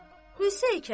Qısa, hey kəlam!